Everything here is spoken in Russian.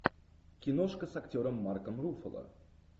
киношка с актером марком руффало